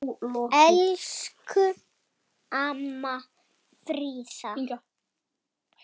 Elsku amma Fríða.